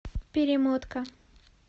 перемотка